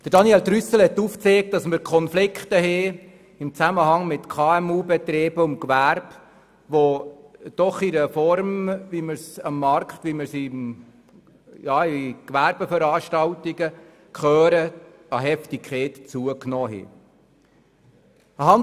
Daniel Trüssel hat aufgezeigt, dass Konflikte im Zusammenhang mit KMU und dem Gewerbe bestehen, die – wie wir auch anlässlich von Veranstaltungen des Gewerbes hören – an Heftigkeit zugenommen haben.